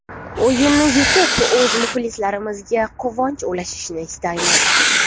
O‘yinni yutib o‘z muxlislarimizga quvonch ulashishni istaymiz.